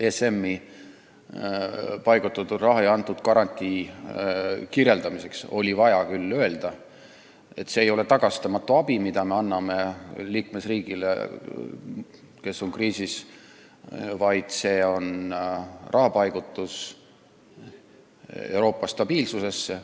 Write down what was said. ESM-i paigutatud raha ja garantii andmise kohta oli vaja küll öelda, et see ei ole tagastamatu abi, mida me anname kriisi sattunud liikmesriigile, vaid see on raha paigutamine Euroopa stabiilsusesse.